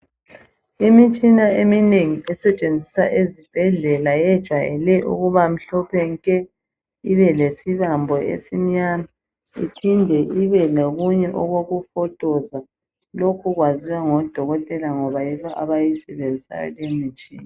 imitshia eminengi esetshenziswa ezibhedlela iyejwayele ukuba mhlophe ibelesibambo esimnyama iphinde ibelokunye okokufotoza lokho kuyaziwa ngodokotela ngoba yibo abayisebenzisayo leyo mtshina